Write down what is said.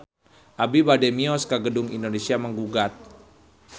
Abi bade mios ka Gedung Indonesia Menggugat